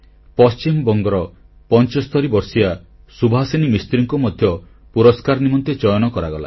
ପଶ୍ଚିମବଙ୍ଗର 75 ବର୍ଷିୟା ସୁଭାସିନୀ ମିସ୍ତ୍ରୀଙ୍କୁ ମଧ୍ୟ ପୁରସ୍କାର ନିମନ୍ତେ ଚୟନ କରାଗଲା